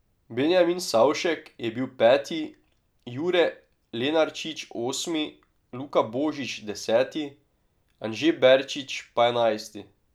Benjamin Savšek je bil peti, Jure Lenarčič osmi, Luka Božič deseti, Anže Berčič pa enajsti.